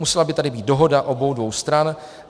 Musela by tady být dohoda obou dvou stran.